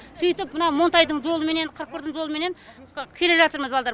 сөйтіп мына монтайдың жолыменен қырық бірдің жолыменен келе жатырмыз балдар